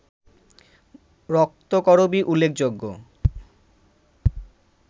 রক্তকরবী উল্লেখযোগ্য